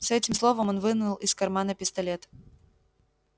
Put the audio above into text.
с этим словом он вынул из кармана пистолет